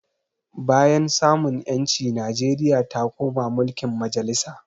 Bayan samun ƴanci Nijeria ta koma mulkin majalisa